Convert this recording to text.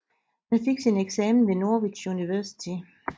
Han fik sin eksamen ved Norwich University